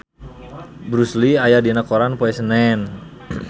Bruce Lee aya dina koran poe Senen